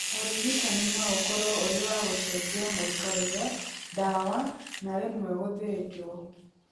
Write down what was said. Ũrigitani no ũkorwo ũrĩ wa gũcenjia mũikarĩre, ndawa na rĩmwe gũthĩnjwo.